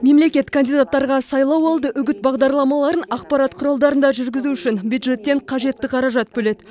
мемлекет кандидаттарға сайлауалды үгіт бағдарламаларын ақпарат құралдарында жүргізу үшін бюджеттен қажетті қаражат бөледі